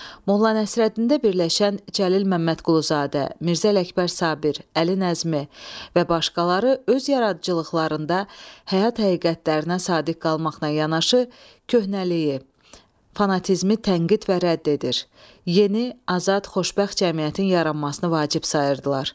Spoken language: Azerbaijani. Molla Nəsrəddində birləşən Cəlil Məmmədquluzadə, Mirzə Ələkbər Sabir, Əli Nəzmi və başqaları öz yaradıcılıqlarında həyat həqiqətlərinə sadiq qalmaqla yanaşı, köhnəliyi, fanatizmi tənqid və rədd edir, yeni, azad, xoşbəxt cəmiyyətin yaranmasını vacib sayırdılar.